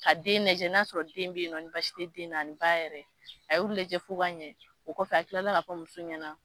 Ka den lajɛ n'a sɔrɔ den bɛ yen nɔ n'a sɔrɔ baasi tɛ den na ba yɛrɛ a y'u lajɛ fo k'a ɲɛ o kɔfɛ a tilala k'a fɔ muso ɲɛna